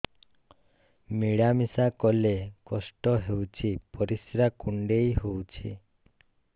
ମିଳା ମିଶା କଲେ କଷ୍ଟ ହେଉଚି ପରିସ୍ରା କୁଣ୍ଡେଇ ହଉଚି